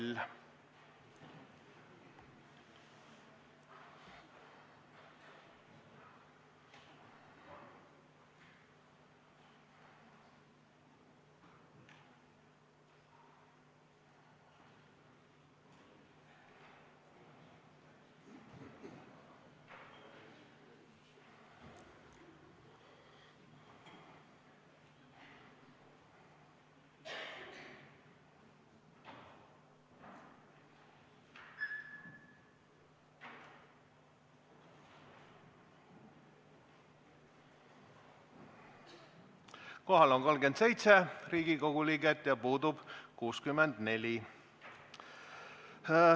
Kohaloleku kontroll Kohal on 37 Riigikogu liiget ja puudub 64.